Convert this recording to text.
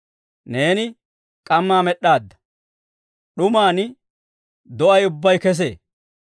Neeni k'ammaa med'd'aadda; d'uman do'ay ubbay kesee.